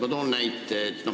Ma toon näite.